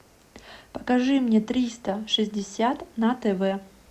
покажи мне триста шестьдесят на тв